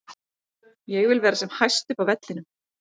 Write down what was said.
Ég vil vera sem hæst upp á vellinum.